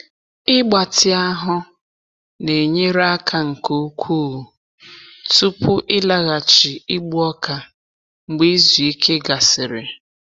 Ịgbatị ahụ na-enyere aka nke ukwuu tupu ịlaghachi igbu ọka mgbe izu ike gasịrị.